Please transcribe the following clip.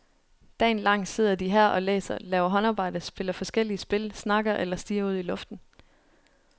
Dagen lang sidder de her og læser, laver håndarbejde, spiller forskellige spil, snakker eller stirrer ud i luften.